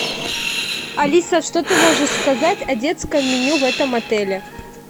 алиса что ты можешь сказать о детском меню в этом отеле